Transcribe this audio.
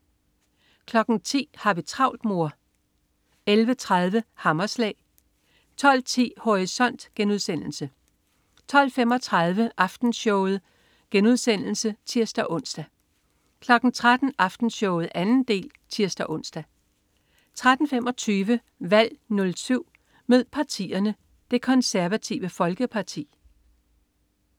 10.00 Har vi travlt mor? 11.30 Hammerslag 12.10 Horisont* 12.35 Aftenshowet* (tirs-ons) 13.00 Aftenshowet 2. del (tirs-ons) 13.25 Valg 07. Mød partierne: Det Konservative Folkeparti